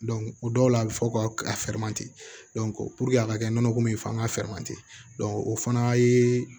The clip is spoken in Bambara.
o dɔw la a bɛ fɔ ka a ka kɛ nɔnɔko min ye fana ka o fana ye